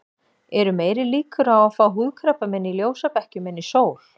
Eru meiri líkur á að fá húðkrabbamein í ljósabekkjum en í sól?